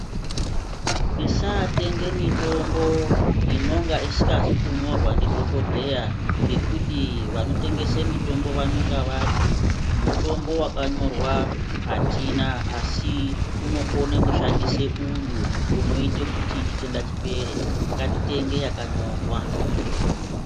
Tisaatenge mitombo inonga isikazi kunyorwa ndidhokodheya, ngekuti vanotengese mitombo vanenga vati, mutombo wakanyorwa atina, asi unokone kushandisa uyu unoite kuti chitenda chipere. Ngatitenge yakanyorwa.